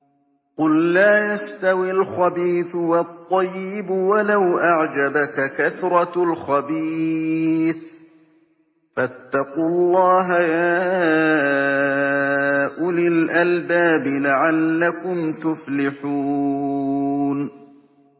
قُل لَّا يَسْتَوِي الْخَبِيثُ وَالطَّيِّبُ وَلَوْ أَعْجَبَكَ كَثْرَةُ الْخَبِيثِ ۚ فَاتَّقُوا اللَّهَ يَا أُولِي الْأَلْبَابِ لَعَلَّكُمْ تُفْلِحُونَ